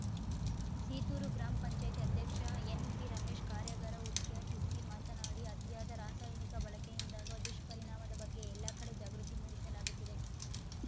Seethur gram ಪಂಚಾಯತಿ ಅಧ್ಯಕ್ಷ ಎನ್‌ಪಿರಮೇಶ್‌ ಕಾರ್ಯಾಗಾರ ಉದ್ಘಾಟಿಸಿ ಮಾತನಾಡಿ ಅತಿಯಾದ ರಾಸಾಯನಿಕ ಬಳಕೆಯಿಂದಾಗುವ ದುಷ್ಪರಿಣಾಮದ ಬಗ್ಗೆ ಎಲ್ಲ ಕಡೆ ಜಾಗೃತಿ ಮೂಡಿಸಲಾಗುತ್ತಿದೆ